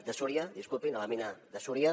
de súria disculpin a la mina de súria